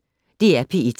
DR P1